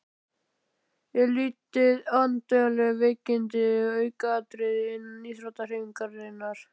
Er litið á andleg veikindi sem aukaatriði innan íþróttahreyfingarinnar?